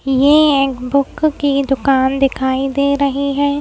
ये बुक की दुकान दिखाई दे रही है।